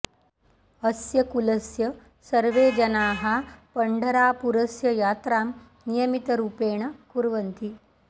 अस्य कुलस्य सर्वे जनाः पण्ढरापुरस्य यात्रां नियमितरूपेण कुर्वन्ति